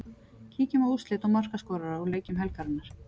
Kíkjum á úrslit og markaskorara úr leikjum helgarinnar.